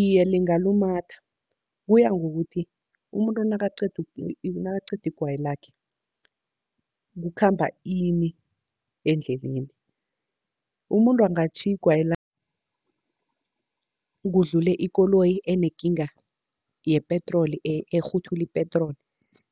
Iye, lingalumatha kuya ngokuthi umuntu nakaqeda nakaqeda igwayi lakhe kukhamba ini endleleni. Umuntu angatjhiya igwayi lakhe kudlule ikoloyi enekinga yepetroli ekghuthula ipetroli,